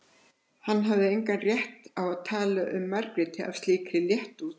Hann hafði engan rétt á að tala um Margréti af slíkri léttúð.